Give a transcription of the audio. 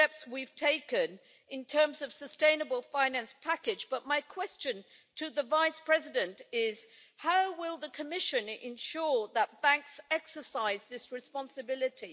We have taken steps recently in terms of the sustainable finance package, but my question to the Vice President is how will the Commission ensure that banks exercise this responsibility?